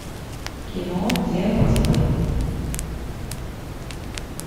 кино дело в тебе